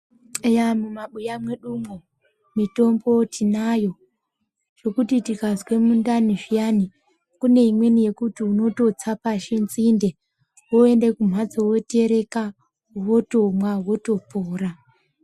Eya mumabuya mwedu umwo mitombo tinayo zvekuti tikazwe mundani zviyani kune imweni yekuti unototsa pashi nzinde woende kumbatso wotereka wotomwa wotopora.